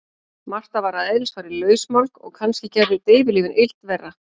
Marta var að eðlisfari lausmálg og kannski gerðu deyfilyfin illt verra.